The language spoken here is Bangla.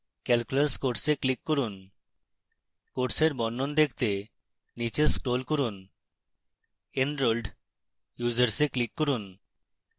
calculus course click করুন কোর্সের বর্ণন দেখতে নীচে scroll করুন